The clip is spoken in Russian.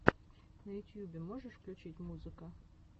на ютьюбе можешь включить музыка